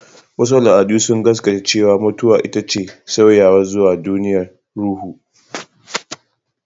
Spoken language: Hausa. Wasu al'adu sun gaskata cewa mutuwa ita ce sauyawa zuwa duniyar ruhu.